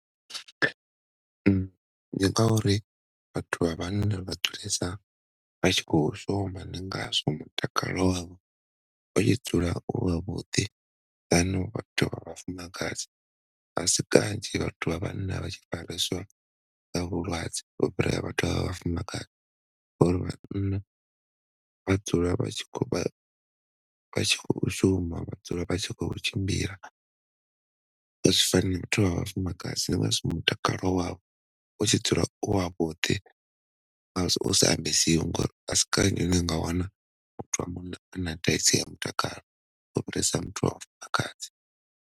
Ndi ngauri vhathu vha vhana vha dzulesa vha tshi kho shuma ndi ngazwo mutakalo wavho utshi dzula u wavhuḓi than vhathu vha vhafumakadzi. Asi kanzhi vhathu vha vhanna vha tshi fareswa nga vhulwadze u fhira vhathu vha vhafumakadzi, ngori vhanna vha dzula vha tshi kho vha vha tshi kho shuma vha dzula vha tshi kho u tshimbila, azwi fani na vhathu vha vhafumakadzi ndi ngazwo mutakalo wavho utshi dzula u wavhuḓi ndi ngazwo u sa ambesiwi ngori asi kanzhi une unga wana muthu wa munna ana thaidzo ya mutakalo u fhirisa muthu wa mufumakadzi.